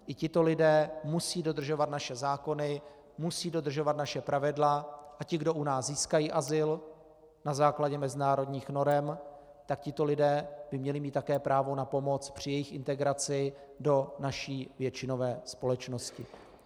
I tito lidé musí dodržovat naše zákony, musí dodržovat naše pravidla a ti, kdo u nás získají azyl na základě mezinárodních norem, tak tito lidé by měli mít také právo na pomoc při jejich integraci do naší většinové společnosti.